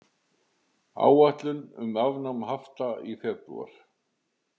Áætlun um afnám hafta í febrúar